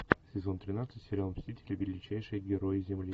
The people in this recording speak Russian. сезон тринадцать сериал мстители величайшие герои земли